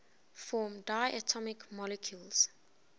form diatomic molecules